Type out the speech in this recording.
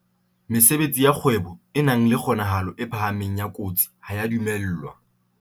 Mesebetsi ya kgwebo e nang le kgonahalo e phahameng ya kotsi ha e a dumellwa.